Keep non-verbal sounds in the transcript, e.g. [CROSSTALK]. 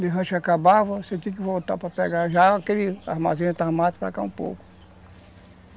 [UNINTELLIGIBLE] você tinha que voltar para pegar já aquele armazém armado para cá um pouco.